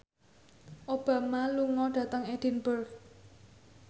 Obama lunga dhateng Edinburgh